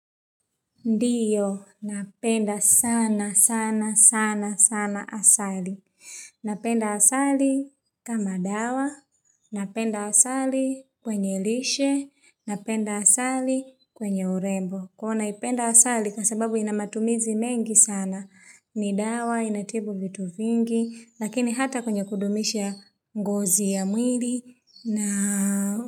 Ndiyo, napenda sana, sana, sana, sana asali. Napenda asali kama dawa, napenda asali kwenye lishe, napenda asali kwenye urembo. Kuwa naipenda asali kwa sababu ina matumizi mengi sana. Ni dawa, inatibu vitu vingi, lakini hata kwenye kudumisha ngozi ya mwili. Na.